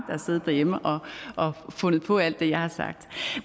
har siddet derhjemme og fundet på alt det jeg har sagt